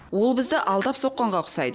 ол бізді алдап соққанға ұқсайды